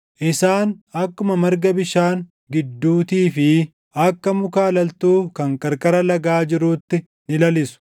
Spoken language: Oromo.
Isaan akkuma marga bishaan gidduutii fi akka muka alaltuu kan qarqara lagaa jiruutti ni lalisu.